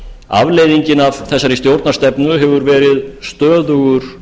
afleiðingin af þessari stjórnarstefnu hefur verið stöðugur